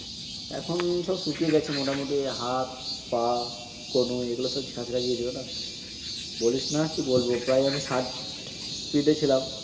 এখন সবশুকিয়ে গেছে মোটামুটি। হাত, পা, কনুই এগুলিতো ছেঁচরে গিয়েছিল। বলিস না কি বলব প্রাম আমি ষাট্র Spreed এ ছিলাম।